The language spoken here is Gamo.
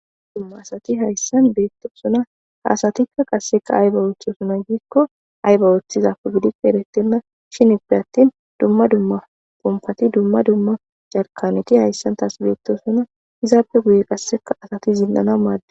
dumma asati hayssan beetto suna haasatikka qasseka ayba oothesuna giikko ayba ooththizapu gidippe erettenna shinippe attin dumma dumma pompati dumma dumma jarkanoti hayssan taas beetto suna izaape guye qasseka asati zinnana maade